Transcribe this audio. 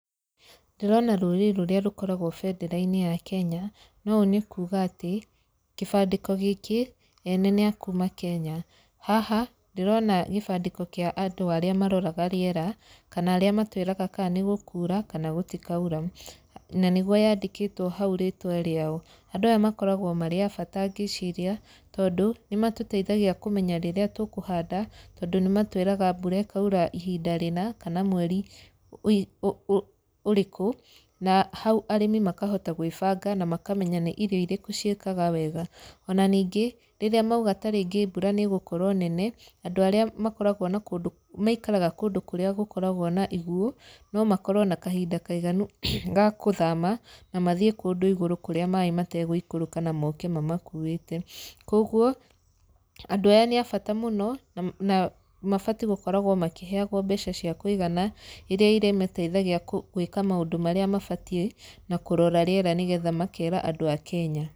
Ndĩrona rũri rũrĩa rũkoragwo bendera-inĩ ya Kenya, na ũũ nĩ kũũga ati kĩbandĩko gĩkĩ ene nĩ a kuuma Kenya. Haha, ndĩrona gĩbandĩko kĩa andũ arĩa maroraga rĩera, kana arĩa matwĩraga kaa nĩ gũkura kana gũtikaura. Na nĩguo yandĩkĩtwo hau rĩtwa rĩao. Andũ aya makoragwo marĩ a bata ngĩciria tondũ, nĩ matũteithagia kũmenya rĩrĩa tũkũhanda, tondũ nĩ matwĩraga mbura ikaura ihinda rĩna kana mweri ũrĩkũ na hau arĩmi makahota gwĩbanga na makamenya nĩ irio irĩkũ ciĩkaga wega. Ona ningĩ, rĩrĩa mauga tarĩngĩ mbura nĩ ĩgũkorwo nene andũ arĩa makoragwo na kũndũ maikaraga kũndũ kũrĩa gũkoragwo na iguo, no makorwo na kahinda kaiganu ga kũthama na mathiĩ kũndũ igũrũ kũrĩa maĩ mategũikũrũka na moke mamakuĩte. Kũguo, andũ aya nĩ a bata mũno, na mabatiĩ gũkoragwo makĩheagwo mbeca cia kũigana, irĩa irĩmateithagia gwĩka maũndũ marĩa mabatiĩ na kũrora rĩera na nĩ getha makera andũ a kenya.